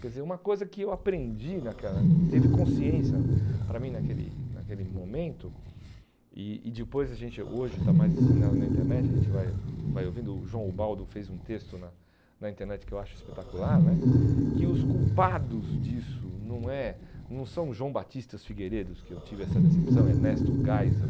Quer dizer, uma coisa que eu aprendi naquela, teve consciência para mim naquele naquele momento, e e depois a gente hoje está mais disseminado na internet, a gente vai vai ouvindo, o João Ubaldo fez um texto na na internet que eu acho espetacular né, que os culpados disso não é não são João Batistas Figueiredos, que eu tive essa decepção, Ernesto Geisel...